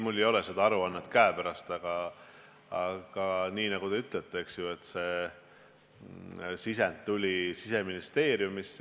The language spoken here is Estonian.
Mul ei ole seda aruannet käepärast, aga nagu te ütlesite, see sisend tuli Siseministeeriumist.